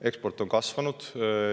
Eksport on kasvanud.